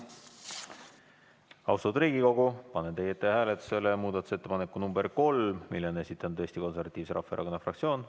Austatud Riigikogu, panen teie ette hääletusele muudatusettepaneku nr 3, mille on esitanud Eesti Konservatiivse Rahvaerakonna fraktsioon.